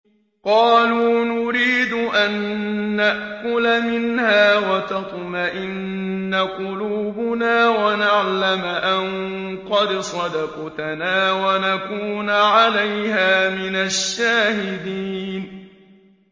قَالُوا نُرِيدُ أَن نَّأْكُلَ مِنْهَا وَتَطْمَئِنَّ قُلُوبُنَا وَنَعْلَمَ أَن قَدْ صَدَقْتَنَا وَنَكُونَ عَلَيْهَا مِنَ الشَّاهِدِينَ